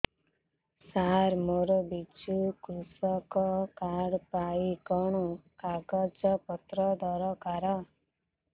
ସାର ମୋର ବିଜୁ କୃଷକ କାର୍ଡ ପାଇଁ କଣ କାଗଜ ପତ୍ର ଦରକାର